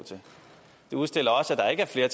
har